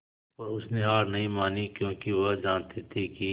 पर उसने हार नहीं मानी क्योंकि वह जानती थी कि